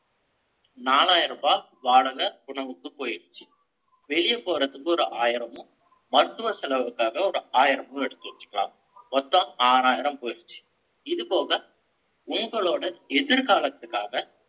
நாலாயிரம் ரூபாய் வாடகை, உணவுக்கு போயிருச்சு. வெளிய போறதுக்கு, ஒரு ஆயிரமும், மருத்துவ செலவுக்காக, ஒரு ஆயிரமும் எடுத்து வச்சுக்கலாம். மொத்தம், ஆறாயிரம் போயிடுச்சு இது போக, உங்களோட எதிர்காலத்துக்காக,